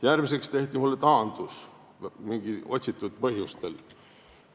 Järgmiseks esitati minu vastu mingil otsitud põhjusel taandus.